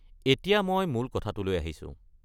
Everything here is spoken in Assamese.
এতিয়া মই মূল কথাটোলৈ আহিছোঁ।